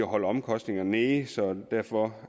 holde omkostninger nede så derfor